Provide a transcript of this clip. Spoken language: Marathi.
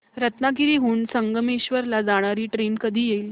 रत्नागिरी हून संगमेश्वर ला जाणारी ट्रेन कधी येईल